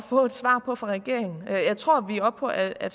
få et svar på fra regeringen jeg tror vi er oppe på at at